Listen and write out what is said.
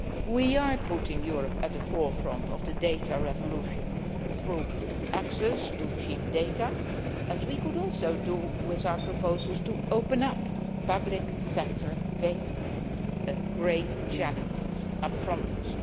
We are putting Europe at the forefront of the data revolution, through access to cheap data, as we could also do with our proposals to open up public sector data a great challenge in front of